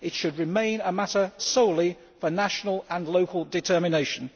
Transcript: It should remain a matter solely for national and local determination.